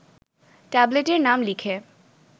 ট্যাবলেটের নাম লিখে